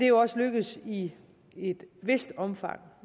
jo også lykkedes i et vist omfang